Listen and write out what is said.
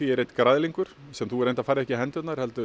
er einn græðlingur sem þú reyndar færð ekki í hendur heldur